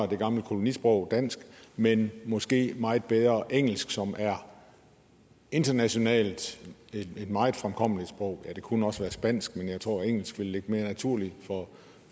det gamle kolonisprog dansk men måske meget bedre engelsk som internationalt er et meget fremkommeligt sprog det kunne også være spansk men jeg tror engelsk vil ligge mere naturligt